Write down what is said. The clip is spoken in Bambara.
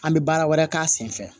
An bɛ baara wɛrɛ k'a sen fɛ